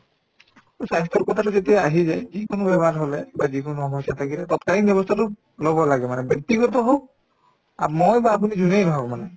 স্বাস্থ্যৰ কথাটো যেতিয়া আহি যায় যিকোনো বেমাৰ হলে বা যিকোনো সমস্যা থাকিলে তৎকালীন ব্যৱস্থাতো লব লাগে মানে ব্যক্তিগত হওক আ মই বা আপুনি যোনে নহওক মানে